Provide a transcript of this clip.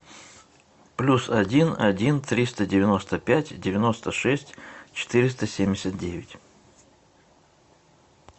плюс один один триста девяносто пять девяносто шесть четыреста семьдесят девять